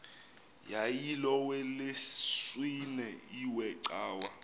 yayilolwesine iwe cawa